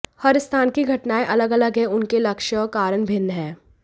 हर स्थान की घटनाएं अलग अलग हैं उनके लक्ष्य और कारण भिन्न हैं